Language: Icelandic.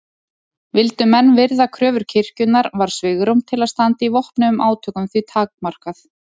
Vildu menn virða kröfur kirkjunnar var svigrúm til að standa í vopnuðum átökum því takmarkað.